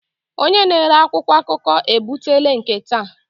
Onye na-ere akwụkwọ akụkọ ebutela nke taa.